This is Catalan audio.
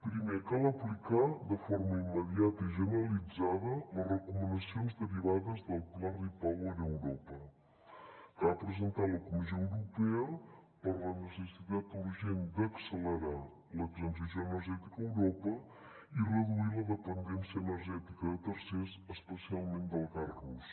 primer cal aplicar de forma immediata i generalitzada les recomanacions derivades del pla repower europa que ha presentat la comissió europea per la necessitat urgent d’accelerar la transició energètica a europa i reduir la dependència energètica de tercers especialment del gas rus